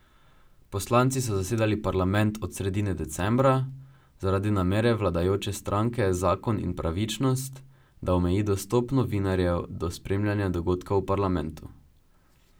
Poslanci so zasedali parlament od sredine decembra, zaradi namere vladajoče stranke Zakon in pravičnost, da omeji dostop novinarjev do spremljanja dogodkov v parlamentu.